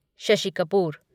Shashi Kapoor